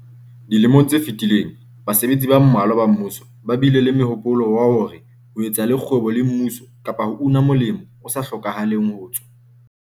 Dilemong tse fetileng basebetsi ba mmalwa ba mmuso ba bile le mohopolo wa hore ho etsa le kgwebo le mmuso kapa ho una molemo o sa hlokahaleng ho tswa